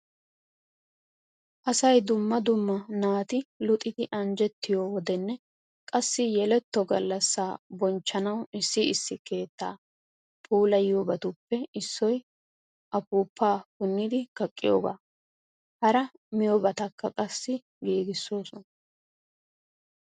Asay dumma dumma naati luxidi anjjettiyo wodenne qassi yeletto gallassaa bonchchanawu issi issi keettaa puulayiyoobatuppe issoy afuufaa punnidi kaqqiyoogaa. Hara miyoobatakka qassi giigissoosona.